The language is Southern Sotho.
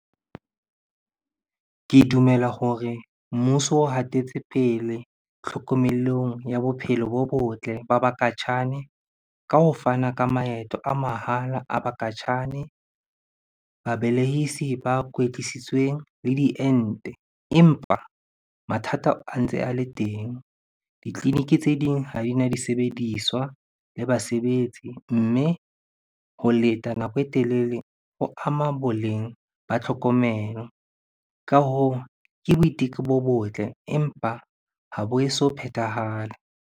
Ke dumela hore mmuso o hatetse pele tlhokomelong ya bophelo bo botle ba bakatjhane ka ho fana ka maeto a mahala a bakatjhane, ba belehisi ba kwetlisitsweng le diente. Empa mathata a ntse a le teng, ditleliniki tse ding ha di na disebediswa le basebetsi. Mme ho leta nako e telele ho ama boleng ba tlhokomelo. Ka hoo, ke boiteko bo botle, empa ha bo e so phethahale.